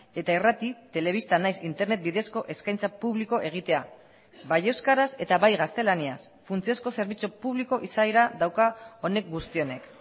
eta irrati telebista nahiz internet bidezko eskaintza publiko egitea bai euskaraz eta bai gaztelaniaz funtsezko zerbitzu publiko izaera dauka honek guzti honek